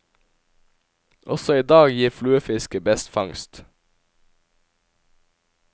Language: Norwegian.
Også i dag gir fluefisket best fangst.